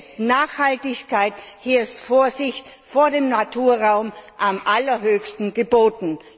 Hier sind Nachhaltigkeit und Vorsicht vor dem Naturraum am allerhöchsten geboten.